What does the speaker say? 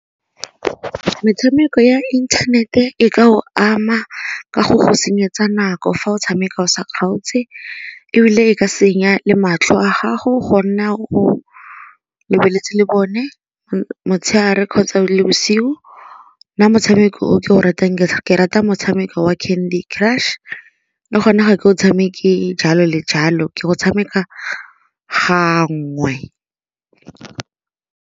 Metshameko ya internet e ka go ama ka go go senyetsa nako fa o tshameka o sa kgaotse ebile e ka senya le matlho a gago go nna o lebeletse lebone motshegare kgotsa le bosigo. Nna motshameko o ke o ratang ke rata motshameko wa Candy Crush le gone ga ke o tshameke jalo le jalo ke go tshameka gangwe.